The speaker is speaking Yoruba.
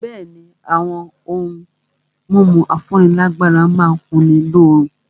Bẹ̀ẹ́ni, àwọn ohun mímu afúnílágbára má n kunni lóorun.